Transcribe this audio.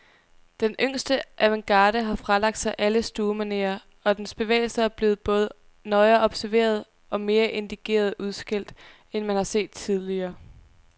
Den yngste avantgarde har fralagt sig alle stuemanerer, og dens bevægelser er blevet både nøjere observeret, og mere indigneret udskældt, end man har set tidligere.